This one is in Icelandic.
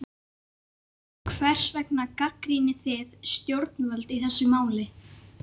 Hvers vegna gagnrýnið þið stjórnvöld í þessu máli?